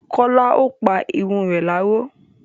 Kọ́lá ò pa irun re láró.